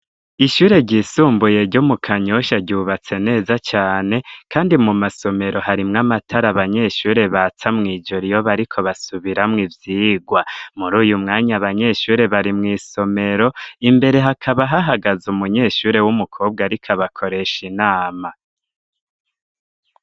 Ishure ryisumbuye ryo mu Kanyosha, ryubatse neza cane, kandi mu masomero, harimwo amatara abanyeshure batsa mw'ijoro, iyo bariko basubiramwo ivyigwa, muri uyu mwanya, abanyeshure bari mw'isomero, imbere hakaba hahagaze umunyeshure w'umukobwa, ariko abakoresha inama.